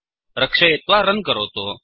रक्षयित्वा रन् करोतु